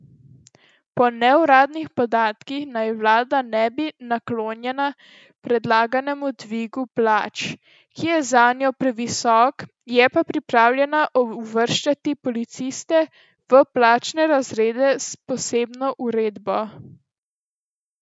Po neuradnih podatkih naj vlada ne bi bila naklonjena predlaganemu dvigu plač, ki je zanjo previsok, je pa pripravljena uvrščati policiste v plačne razrede s posebno uredbo.